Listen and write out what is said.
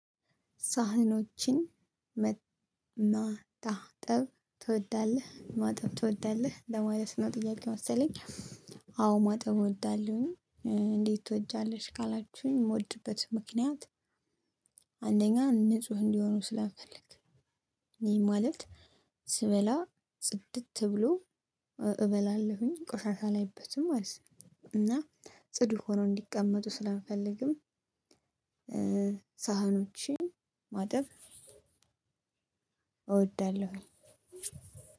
ሳህኖችን ማጣጠብ ትወዳለህ ማጠብ ትወዳለህ ለማለት ነው ጥያቄው መሰለኝ? አዎ ማጠብ እወዳለሁኝ። እንዴት ትወጃለሽ ካላችሁኝ የምወድበት ምክንያት። አንደኛ ንጹህ እንዲሆኑ ስለምፈልግ። ይህ ማለት ስበላ ጽድት ብሎ እበላለሁኝ ቆሻሻ አላይበትም ማለት ነው። እና ጽዱ ሆኖ እንዲቀመጡ ስለምፈልግም። ሳህኖችን ማጠብ እወዳለሁኝ።